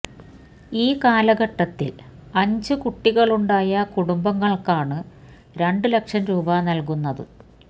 ഈ കാലഘട്ടത്തില് അഞ്ച് കുട്ടികളുണ്ടായ കുടുംബങ്ങള്ക്കാണ് രണ്ട് ലക്ഷം രൂപ നല്കുന്നത്